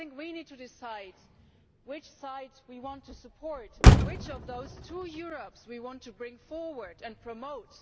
I think we need to decide which side we want to support, which of those two Europes we want to bring forward and promote.